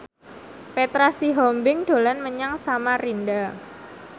Petra Sihombing dolan menyang Samarinda